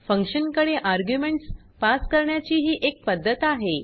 function कडे arguments pass करण्याची ही एक पद्धत आहे